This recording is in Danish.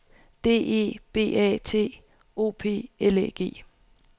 D E B A T O P L Æ G